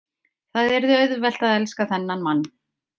Það yrði auðvelt að elska þennan mann.